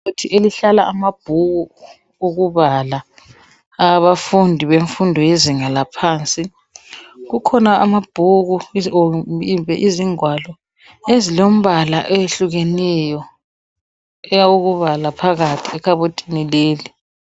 Ikhabothi ehlala amabhuku okubala awabafundi bemfundo yezinga laphansi. Kukhona amabhuku kumbe izingwalo ezilombala ehlukeneneyo ezokubala phakathi kwekaboti leli.